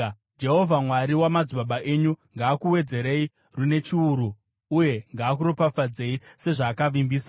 Jehovha Mwari wamadzibaba enyu, ngaakuwedzerei rune chiuru uye ngaakuropafadzei sezvaakavimbisa!